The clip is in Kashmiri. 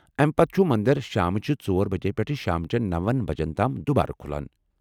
امہ، پتہٕ چُھ مندر شامچہِ ژور بجہ پیٹھہٕ شامچین نوَن بجن تام دُوبارٕ کُھلان